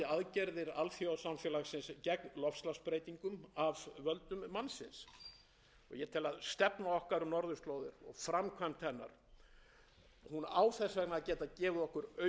við nýtum aukna þátttöku okkar og ábyrgan málflutning til að skerpa og styrkja stöðu okkar sem skýrs málflytjanda varðandi aðgerðir alþjóðasamfélagsins gegn loftslagsbreytingum af völdum mannsins ég tel að stefna okkar á norðurslóðum og framkvæmd hennar